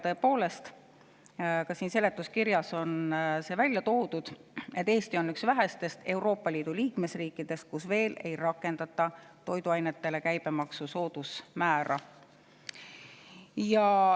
Tõepoolest, ka seletuskirjas on välja toodud, et Eesti on üks vähestest Euroopa Liidu liikmesriikidest, kus veel ei rakendata toiduainete suhtes käibemaksu soodusmäära.